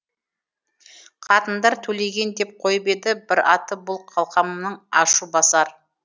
қатындар төлеген деп қойып еді бір аты бұл қалқамның ашу басар